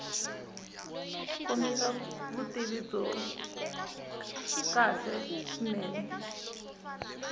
kombisa vutivi byo kahle swinene